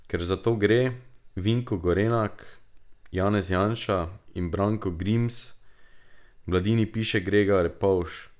Ker za to gre, Vinko Gorenak, Janez Janša in Branko Grims, v Mladini piše Grega Repovž.